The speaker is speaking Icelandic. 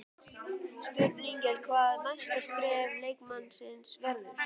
Spurning er hvað næsta skref leikmannsins verður?